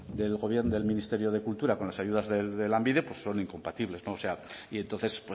del ministerio de cultura con las ayudas de lanbide pues son incompatibles o sea y entonces